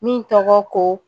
Min tɔgɔ ko